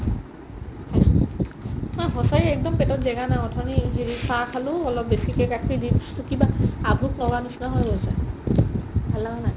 মই সঁচাই একদম পেটত জেগা নাই অথনি এই হেৰিৰ চাহ খালো অলপ বেছিকে গাখীৰ দি to কিবা আভুক লগাৰ নিচিনা হৈ গৈছে ভাল লাগা নাই